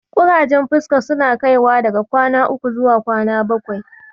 Ƙurajen fuska suna kaiwa daga kwana uku zuwa kwana bakwai.